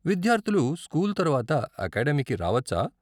విద్యార్ధులు స్కూల్ తర్వాత అకాడెమీకి రావచ్చా?